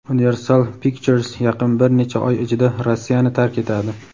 Universal Pictures yaqin bir necha oy ichida Rossiyani tark etadi.